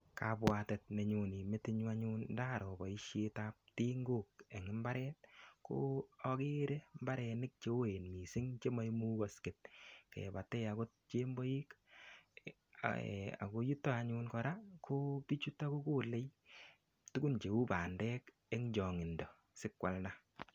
Kabwatet nenyone metinyu anyun ndaroo boisietab tingok en imbaret ko agere mbarenik cheoen mising che maimukaksen kebate agot chemboik ago yuto anyun kora kobiichuto anyun kogolei tugun cheu bandek eng chongindo asikwalda.